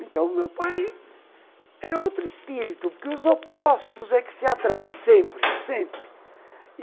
Então, meu pai era outro espírito, porque os opostos é que se atrai sempre, sempre.